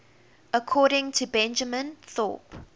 according to benjamin thorpe